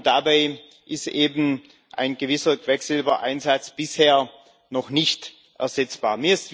Dabei ist eben ein gewisser Quecksilbereinsatz bisher noch nicht ersetzbar.